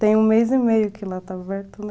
Tem um mês e meio que lá está aberto, né?